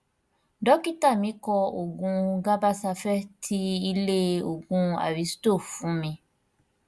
dọkítà mí kọ òògun gabasafe ti ilé òògùn aristo fún mi